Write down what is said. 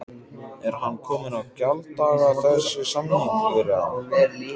Er hann kominn á gjalddaga þessi samningur eða?